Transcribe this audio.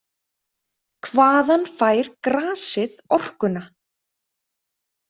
„Hvaðan fær grasið orkuna?“